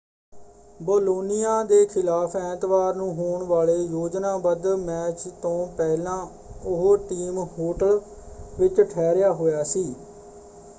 Bologna ਦੇ ਖਿਲਾਫ਼ ਐਤਵਾਰ ਨੂੰ ਹੋਣ ਵਾਲੇ ਯੋਜਨਾਬੱਧ ਮੈਚ ਤੋਂ ਪਹਿਲਾਂ ਉਹ ਟੀਮ ਹੋਟਲ ਵਿੱਚ ਠਹਿਰਿਆ ਹੋਇਆ ਸੀ।